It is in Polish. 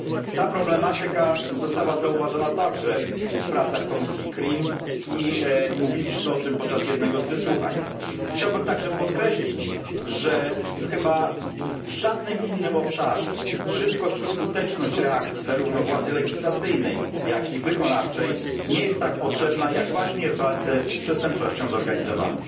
Ta problematyka została zauważona także w pracach komisji CRIM i mówiliśmy o tym podczas jednego z wysłuchań. Chciałbym także podkreślić, że chyba w żadnym innym obszarze szybkość i skuteczność reakcji, zarówno władzy legislacyjnej, jak i wykonawczej, nie jest tak potrzebna jak właśnie w walce z przestępczością zorganizowaną.